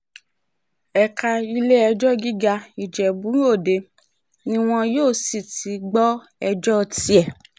ẹ̀ka ilé-ẹjọ́ gíga ìjẹ́bú-ọdẹ ni wọn yóò sì ti gbọ́ ẹjọ́ tiẹ̀